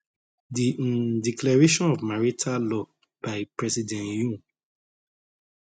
di um declaration of martial law by president yoon